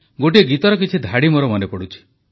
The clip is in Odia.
ଗୋଟିଏ ଗୀତର କିଛି ଧାଡ଼ି ମୋର ମନେପଡ଼ୁଛି